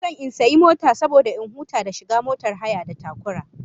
Ina son in sayi mota saboda in huta da shiga motar hayar da takura